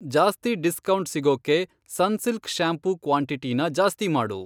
ಜಾಸ್ತಿ ಡಿಸ್ಕೌಂಟ್ ಸಿಗೋಕ್ಕೆ Sunsilk shampoo ಕ್ವಾಂಟಿಟಿನ ಜಾಸ್ತಿ ಮಾಡು.